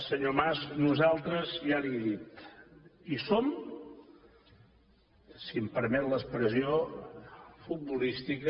senyor mas nosaltres ja li ho he dit hi som si em permet l’expressió futbolística